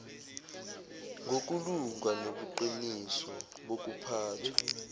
ngokulunga nobuqiniso bokuphathwa